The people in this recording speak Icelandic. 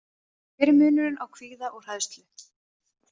Hver er munurinn á kvíða og hræðslu?